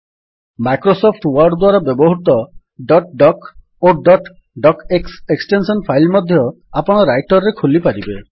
Microsoft Word ଦ୍ୱାରା ବ୍ୟବହୃତ dot doc ଓ dot docx extension file ମଧ୍ୟ ଆପଣ ରାଇଟର୍ ରେ ଖୋଲିପାରିବେ